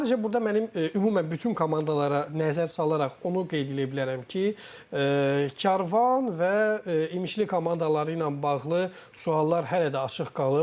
Sadəcə burda mənim ümumən bütün komandalara nəzər salaraq onu qeyd eləyə bilərəm ki, Karvan və İmişli komandaları ilə bağlı suallar hələ də açıq qalıb.